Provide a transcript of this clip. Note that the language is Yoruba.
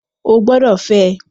Ó gbọ́dọ̀ fẹ́!